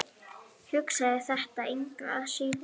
Hugsaði þetta engu að síður.